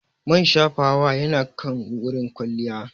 Man shafawa yana kan wurin kwalliya.